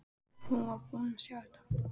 Hún var búin að sjá þetta!